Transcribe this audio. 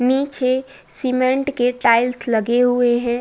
नीचे सीमेंट के टाइल्स लगे हुए हैं।